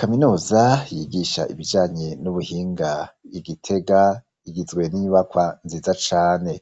kaminuza yigisha ibijanye n'ubuhinga I Gitega igizwe n'inyubakwa nziza cane